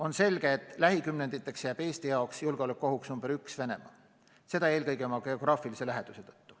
On selge, et lähikümnenditeks jääb Eesti jaoks julgeolekuohuks number üks Venemaa, seda eelkõige geograafilise läheduse tõttu.